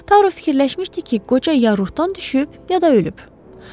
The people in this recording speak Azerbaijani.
Taro fikirləşmişdi ki, qoca ya Ortdan düşüb, ya da ölüb.